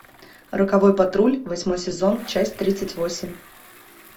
роковой патруль восьмой сезон часть тридцать восемь